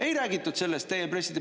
Ei räägitud sellest teie pressi…